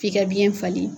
F'i ka biyɛn falen